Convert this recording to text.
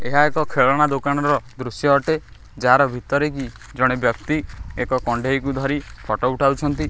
ଏହା ଏକ ଖେଳନା ଦୋକାନର ଦୃଶ୍ୟ ଅଟେ ଯାହାର ଭିତରେ କି ଜଣେ ବ୍ୟକ୍ତି ଏକ କଣ୍ଢେଇକୁ ଧରି ଫଟୋ ଉଠାଉଛନ୍ତି।